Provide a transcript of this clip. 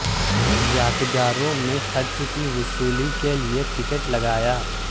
یادگاروں میں خرچ کی وصولی کے لئے ٹکٹ لگایا